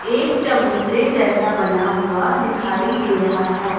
एक चबूतरे जैसा बना हुआ दिखाई दे रहा है।